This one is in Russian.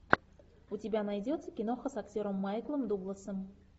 у тебя найдется киноха с актером майклом дугласом